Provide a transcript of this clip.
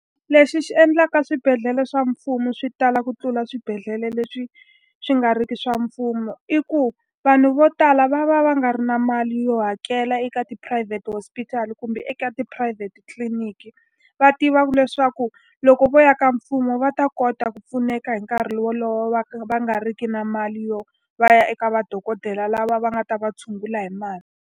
Lexi xi endlaka swibedhlele swa mfumo swi tala ku tlula swibedhlele leswi swi nga ri ki swa mfumo i ku, vanhu vo tala va va va nga ri na mali yo hakela eka tiphurayivhete hospital kumbe eka ya tiphurayivhete tliliniki. Va tivaka leswaku loko vo ya ka mfumo va ta kota ku pfuneka hi nkarhi wolowo va va nga riki na mali yo va ya eka madokodela lava va nga ta va tshungula hi mali.